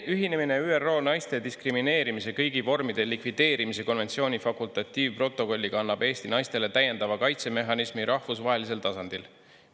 Ühinemine ÜRO naiste diskrimineerimise kõigi vormide likvideerimise konventsiooni fakultatiivprotokolliga annab Eesti naistele täiendava kaitsemehhanismi rahvusvahelisel tasandil.